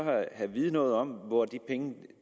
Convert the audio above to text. vide noget om hvor de penge